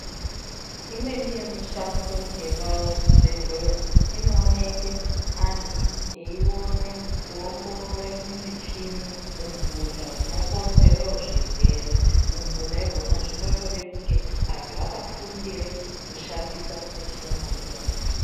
Imweni yemishando yepazvibhedhleya inooneke antu eione kuongorore mumichini umphuta hunokonzere zvirwere. Umphuta ihwona zvinotode kunge ,antu akafundire kushandisa michina iyona.